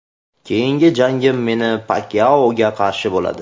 Keyingi jangim Menni Pakyaoga qarshi bo‘ladi.